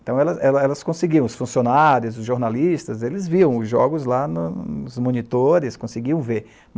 Então, elas conseguiam, os funcionários, os jornalistas, eles viam os jogos lá nos monitores, conseguiam ver.